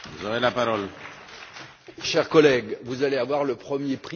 Cher collègue, vous allez avoir le premier prix en caricature des propos.